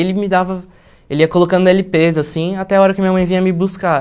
Ele me dava ele ia colocando ele pês até a hora que minha mãe vinha me buscar.